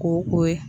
Ko ye